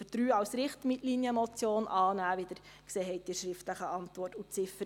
Ziffer 3 als Richtlinienmotion und die Ziffern 1, 2, und 4 als Postulat.